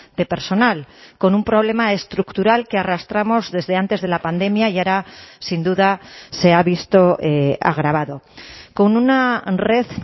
de personal con un problema estructural que arrastramos desde antes de la pandemia y ahora sin duda se ha visto agravado con una red